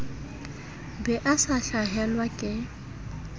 be a sa hlahelwa ke